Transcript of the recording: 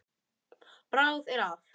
Bragð er að.